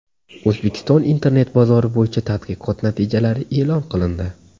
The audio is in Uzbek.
O‘zbekiston internet bozori bo‘yicha tadqiqot natijalari e’lon qilindi.